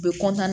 U be